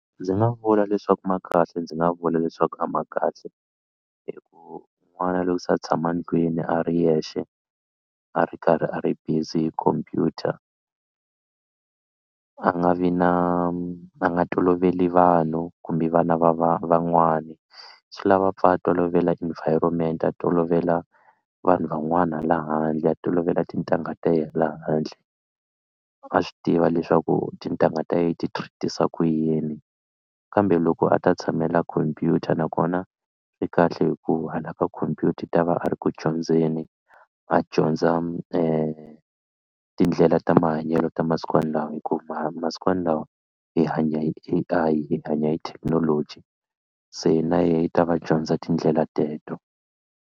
Ndzi nga vula leswaku ma kahle ndzi nga vula leswaku a ma kahle hi ku n'wana loko se a tshama ndlwini a ri yexe a ri karhi a ri busy hi computer a nga vi na a nga toloveli vanhu kumbe vana va va van'wani swi lava a pfa a tolovela environment a tolovela vanhu van'wana hala handle a tolovela tintangha ta yena la handle a swi tiva leswaku tintangha ta yena ti treat-isa ku yini kambe loko a ta tshamela khomphyuta nakona swi kahle hi ku hala ka khompyuta i ta va a ri ku dyondzeni a dyondza tindlela ta mahanyelo ta masikwanalawa hi ku ma masikwanalawa hi hanya A_I hi hanya hi thekinoloji se na yehe i ta va dyondza tindlela teto.